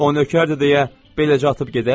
O nökərdir deyə beləcə atıb gedək?